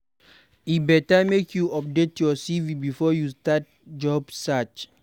E go better make you update your CV before you start job search.